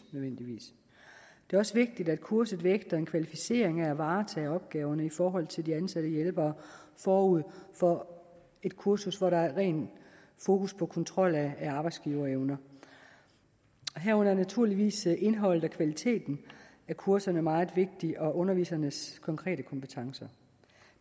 det er også vigtigt at kurset vægter en kvalificering i at varetage opgaverne i forhold til de ansatte hjælpere forud for et kursus hvor der er rent fokus på kontrol af arbejdsgiverevner herunder er naturligvis indholdet og kvaliteten af kurserne meget vigtige ligesom undervisernes konkrete kompetencer